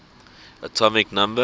atomic number